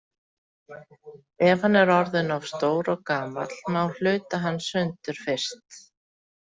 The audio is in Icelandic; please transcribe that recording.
Ef hann er orðinn of stór og gamall má hluta hann sundur fyrst.